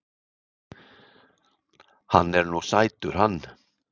Hann er nú sætur hann